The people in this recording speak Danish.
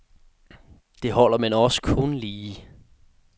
Det holder, men også kun lige.